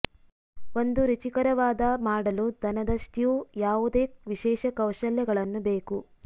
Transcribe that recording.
ಒಂದು ರುಚಿಕರವಾದ ಮಾಡಲು ದನದ ಸ್ಟ್ಯೂ ಯಾವುದೇ ವಿಶೇಷ ಕೌಶಲ್ಯಗಳನ್ನು ಬೇಕು